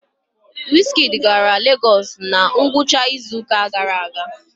wizkid gara lagos na ngwụcha izuụka gara aga?